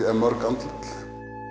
mörg andlit